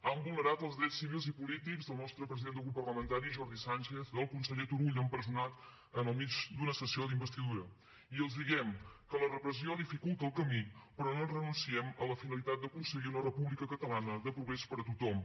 han vulnerat els drets civils i polítics del nostre president de grup parlamentari jordi sánchez del conseller turull empresonat en mig d’una sessió d’investidura i els diem que la repressió dificulta el camí però no renunciem a la finalitat d’aconseguir una república catalana de progrés per a tothom